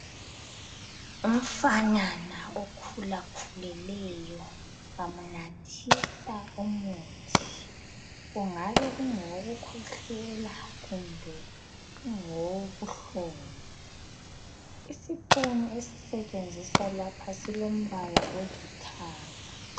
Umfanyana okhulakhulileyo bamnathisa umuthi kungabe kungokukhwehlela kumbe ungowobuhlungu isipunu esisetshenziswa lapha silombala olithanga.